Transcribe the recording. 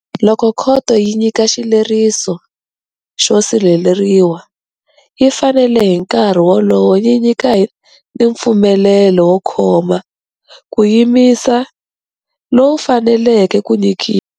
Loko khoto yi nyika xileriso xo sirheleriwa, yi fanele hi nkarhi wolowo yi nyika ni mpfumelelo wo khoma, ku yimisa, lowu faneleke ku nyikiwa.